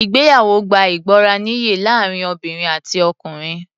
Ìgbéyàwó gbá ìgbọràniye láàrin obìnrin àti ọkùnrin.